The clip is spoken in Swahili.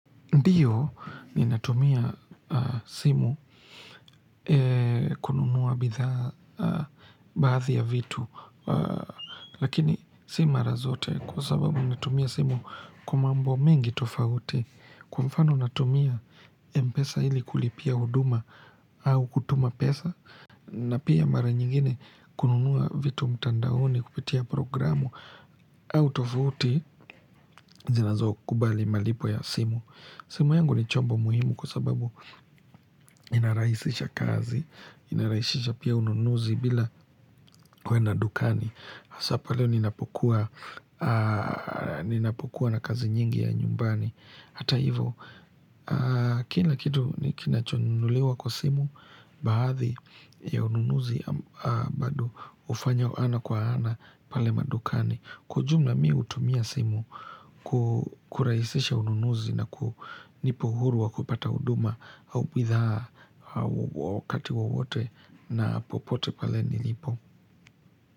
Ndio ninatumia simu kununua bidhaa baadhi ya vitu. Lakini si mara zote kwa sababu natumia simu kwa mambo mengi tofauti. Kwa mfano natumia mpesa ili kulipia huduma au kutuma pesa. Na pia mara nyingine kununua vitu mtandaoni kupitia programu au tofauti zinazokubali malipo ya simu. Simu yangu ni chombo muhimu kwa sababu inarahisisha kazi, inarahishisha pia ununuzi bila kuenda dukani. Hasa pale ninapokuwa na kazi nyingi ya nyumbani. Hata hivo, kila kitu ni kinachonunuliwa kwa simu, baadhi ya ununuzi bado hufanywa ana kwa ana pale madukani. Kwa ujumla, mi hutumia simu kurahisisha ununuzi na kunipa uhuru wa kupata huduma au bidhaa wakati wowote na popote pale nilipo.